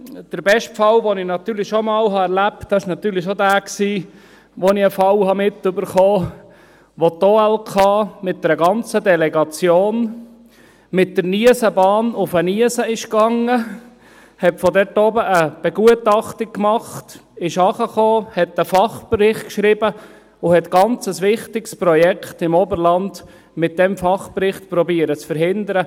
Der beste Fall, den ich erlebt habe, war jener, als ich einen Fall mitbekam, wo die OLK mit einer ganzen Delegation mit der Niesenbahn auf den Niesen fuhr, dort oben eine Begutachtung machte, hinunter kam, einen Fachbericht schrieb und versuchte, ein ganz wichtiges Projekt im Oberland mit diesem Fachbericht zu verhindern.